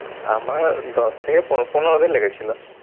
আমার দশ থেকে পনে পনেরো দিন লেগেছিল।